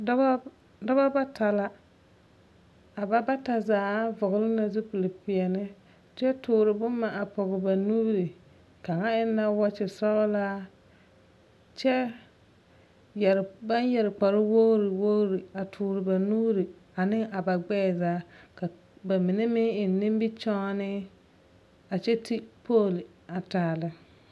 Dɔbɔ dɔbɔ bata la. A ba bata zaa vɔgne na zupilpeɛne kyɛ toore boma a pɔge ba nuuri. Kaŋa eŋ la wɔɔkye sɔglaa kyɛ yɛre baŋ yɛre kparo wogiri wogiri a toore ba nuuri ane a ba gbɛɛ zaa. Ka ba mine meŋ eŋ nimikyaane a kyɛ ti Poole a taa lɛ.